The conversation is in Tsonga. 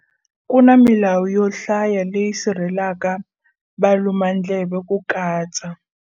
Ku na milawu yo hlaya leyi sirhele laka valumandleve ku katsa.